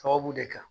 Sababu de kan